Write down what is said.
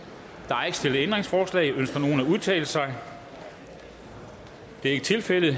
der er ikke stillet ændringsforslag ønsker nogen at udtale sig det er ikke tilfældet